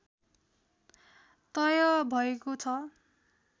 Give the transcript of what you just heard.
तय भएको छ